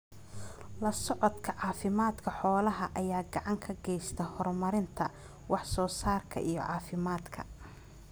La socodka caafimaadka xoolaha ayaa gacan ka geysta horumarinta wax soo saarka iyo caafimaadka.